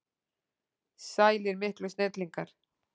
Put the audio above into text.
Sælir miklu snillingar!